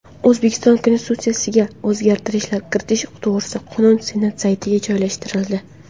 O‘zbekiston Konstitutsiyasiga o‘zgartirishlar kiritish to‘g‘risida qonun Senat saytiga joylashtirildi.